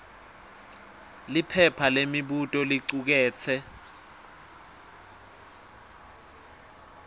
liphepha lemibuto licuketse